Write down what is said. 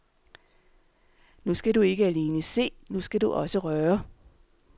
Nu skal du ikke alene se, nu skal du også røre.